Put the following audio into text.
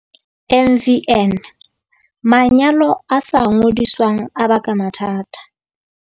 MVN, Manyalo a sa ngodiswang a baka mathata.